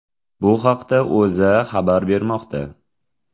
Bu haqda O‘zA xabar bermoqda .